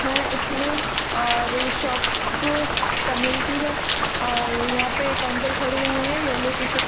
-- है इसमें और ये शॉप तमिल की है और यहाँ पे एक अंकल खड़े हुए है येलो टी-शर्ट --